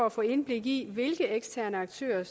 at få indblik i hvilke eksterne aktører